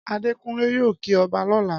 Adékunlé yóò kí ọba lọ́la